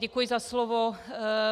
Děkuji za slovo.